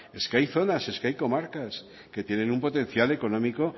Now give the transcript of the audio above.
es que hay zonas es que hay comarcas que tienen un potencial económico